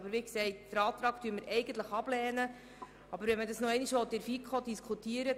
Wir lehnen diesen Antrag eigentlich ab, aber man kann noch einmal in der FiKo darüber diskutieren.